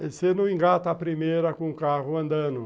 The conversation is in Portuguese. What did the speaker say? Você não engata a primeira com o carro andando.